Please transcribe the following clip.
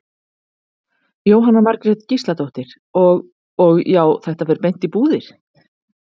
Jóhanna Margrét Gísladóttir: Og, og já, þetta fer beint í búðir?